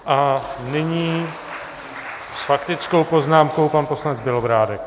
A nyní s faktickou poznámkou pan poslanec Bělobrádek.